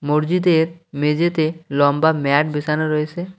মরজিদের মেঝেতে লম্বা ম্যাট বিছানো রয়েছে।